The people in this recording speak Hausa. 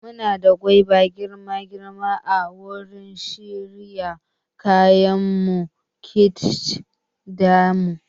Muna da gwaiba girma girma a wurin shirya kaya na kitchen ɗin mu